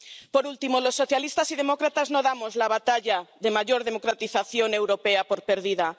Por último, los socialistas y demócratas no damos la batalla de mayor democratización europea por perdida.